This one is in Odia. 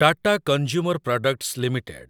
Tata consumer products limited